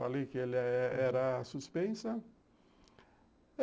Falei que ela era suspensa.